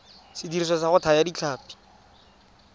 sediriswa sa go thaya ditlhapi